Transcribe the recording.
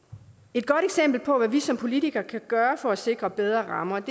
et godt eksempel på hvad vi som politikere kan gøre for at sikre bedre rammer